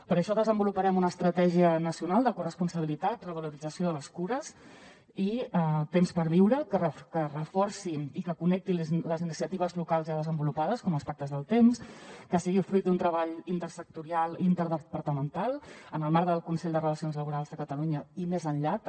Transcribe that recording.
per això desenvoluparem una estratègia nacional de corresponsabilitat revalorització de les cures i temps per viure que reforci i que connecti les iniciatives locals ja desenvolupades com els pactes del temps que sigui fruit d’un treball intersectorial i interdepartamental en el marc del consell de relacions laborals de catalunya i més enllà també